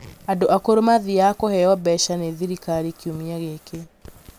andũ akũrũ mathiaga kũheo mbeca nĩ thirikari kiumia gĩkĩ